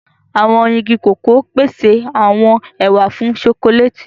Awọn ìgi koko pese awọn ẹwà fún chọcòlati.